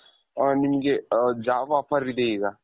ಅ ನಿಮ್ಗೆ job offer ಇದೆ ಈಗ.